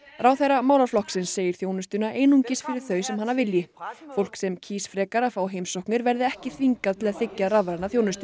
ráðherra málaflokksins segir þjónustuna einungis fyrir þau sem hana vilji fólk sem kýs frekar að fá heimsóknir verði ekki þvingað til að þiggja rafræna þjónustu